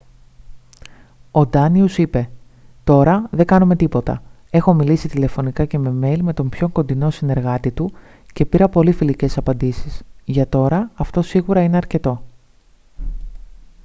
ο ντάνιους είπε «τώρα δεν κάνουμε τίποτα. έχω μιλήσει τηλεφωνικά και με μέιλ με τον πιο κοντινό συνεργάτη του και πήρα πολύ φιλικές απαντήσεις. για τώρα αυτό σίγουρα είναι αρκετό»